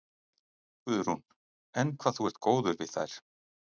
Guðrún: Enn hvað þú ert góður við þær?